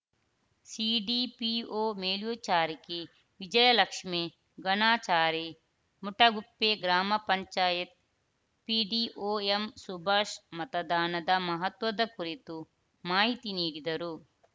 CDPO ಮೇಲ್ವಿಚಾರಕಿ Vijayalakshmi Ganachari Mutaguppe ಗ್ರಾಮ panchayat PDO ಎಂಸುಭಾಷ್‌ ಮತದಾನದ ಮಹತ್ವದ ಕುರಿತು ಮಾಹಿತಿ ನೀಡಿದರು